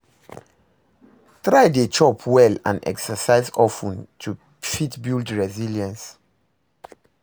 Try de chop well and exercise of ten to fit build resilience